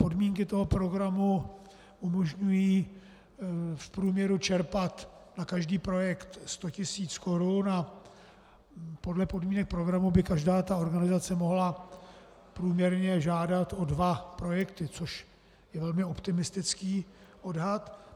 Podmínky toho programu umožňují v průměru čerpat na každý projekt 100 tisíc korun a podle podmínek programu by každá ta organizace mohla průměrně žádat o dva projekty, což je velmi optimistický odhad.